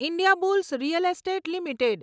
Indiabulls real estate limited